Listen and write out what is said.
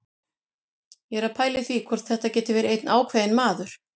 Ég er að pæla í því hvort þetta geti verið einn ákveðinn maður.